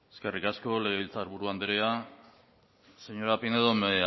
eskerrik asko legebiltzarburu andrea señora pinedo me